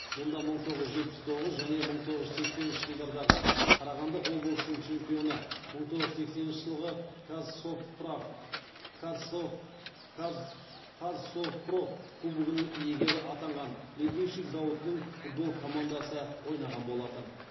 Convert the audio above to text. мұнда мың тоғыз жүз жетпіс тоғыз және мың тоғыз жүз сексенінші жылдардағы қарағанды облысының чемпионы мың тоғыз жүз сексенінші жылғы қазсовпроф кубогының иегері атанған литейщик зауытының футбол командасы ойнаған болатын